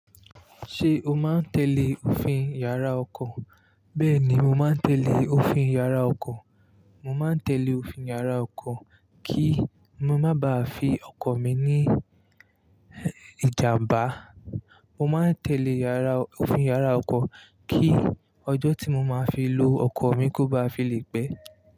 Ṣé o máa ń tẹ́lẹ̀ òfin yàrá ọkọ̀? Bẹ́ẹ̀ ni, mo máa ń tẹ́lẹ̀ òfin yàrá ọkọ̀. Mo máa ń tẹ́lẹ̀ òfin yàrá ọkọ̀ kí ma má ba à fi ọkọ̀ mi ní ìjàmbá. Mo máa ń tẹ́lẹ̀ yàrá, òfin yàrá ọkọ̀ kí ọjọ́ tí mo máa fi lo ọkọ̀ mi kó ba à fi lè pe.